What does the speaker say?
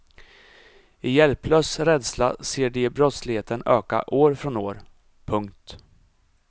I hjälplös rädsla ser de brottsligheten öka år från år. punkt